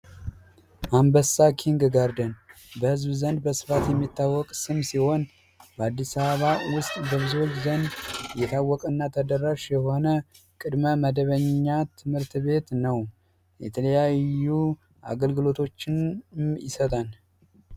አንበሳ ኪንግጋርደን በህዝብ ዘንድ በስፋት የሚታወቅ ስም ሲሆን በአዲስ አበባ በብዙዎች ዘንድ የታወቀና ተደራሽ የሆነ ቅድመ መደበኛ ትምህርት ቤት ነው። የተለያዩ አገልግሎቶችን ይሰጣል።